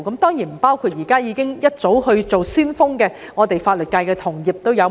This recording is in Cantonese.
當然，他們不包括不少早已當上先鋒的法律界同業。